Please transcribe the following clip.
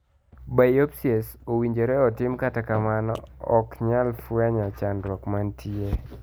Biopsies owinjore otim kata kamano okanyal fwenyo chandruok mantie.